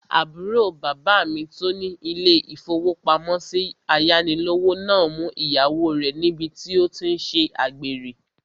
Àbúrò bàbá mi tó ní ilé-ìfowópamọ́sí ayánilówó náà mú ìyàwó rẹ̀ níbi tí ó tí n ṣe àgbèrè